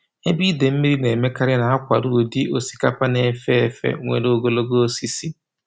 Ebe ide mmiri na-emekarị na-akwado ụdị osikapa na-efe efe nwere ogologo osisi.